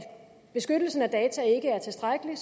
beskyttelsen af data ikke er tilstrækkelig